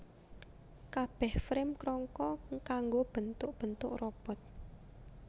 Kabeh Frame krangka kanggo bentuk bentu robot